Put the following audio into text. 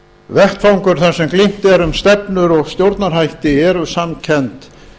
vettvangur þar sem glímt er um stefnur og stjórnarhætti eru samkennd